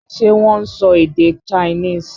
Ṣé wọ́n ń sọ èdè Chinese?